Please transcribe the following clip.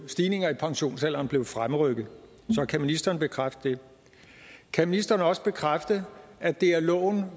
stigningen i pensionsalderen blev fremrykket så kan ministeren bekræfte det kan ministeren også bekræfte at det af loven